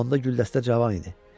Onda güldəstə cavan idi.